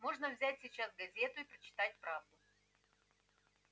можно взять сейчас газету и прочитать правду